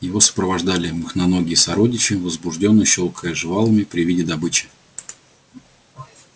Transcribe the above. его сопровождали мохноногие сородичи возбуждённо щёлкая жвалами при виде добычи